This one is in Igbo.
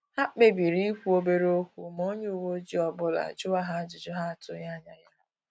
Ha kpebiri ikwu obere okwu ma onye uwe ọjị ọbụla juwa ha ajụjụ ha atughi anya ya